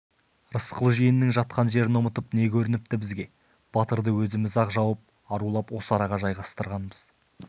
рысқұл жиеннің жатқан жерін ұмытып не көрініпті бізге батырды өзіміз ақ жауып арулап осы араға жайғастырғанбыз